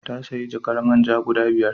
Ta sayi jarkar man ja guda biyar.